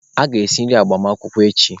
Ị ga-esi nri agbamakwụkwọ echi!